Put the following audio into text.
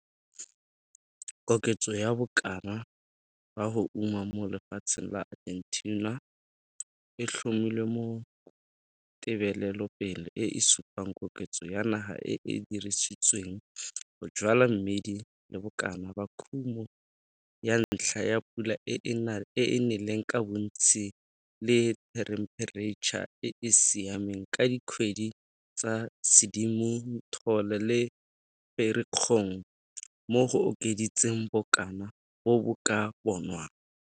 Koketso ya bokana ba go uma mo lefatsheng la Argentina e tlhomilwe mo tebelelope e e supang koketso ya naga e e dirisitsweng go jwala mmidi le bokana ba kumo ka ntlha ya pula e e neleng ka bontsi le thempereitšha e e siameng ka dikgwedi tsa Sedimonthole le Ferikgong, mo go okeditseng bokana bo bo ka bonwang.